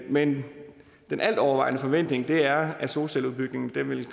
men den altovervejende forventning er at solcelleudbygningen vil